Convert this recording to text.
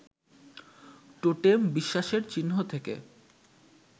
টোটেম-বিশ্বাসের চিহ্ন থেকে